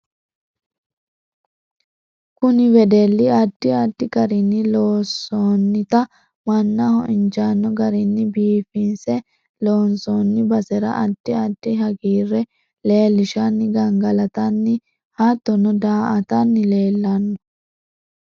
Kunni wedelli addi addi garini loonsoonita mannaho injaano garinni biifinse loonsooni basera addi addi hagiire leelishanni gangalatinni hattono daa'atanni leelanno